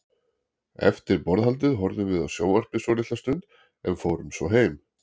Eftir borðhaldið horfðum við á sjónvarpið svolitla stund, en fórum svo heim.